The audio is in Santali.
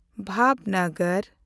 ᱵᱷᱟᱣᱱᱚᱜᱚᱨ